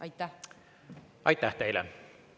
Aitäh teile!